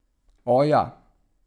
O, ja.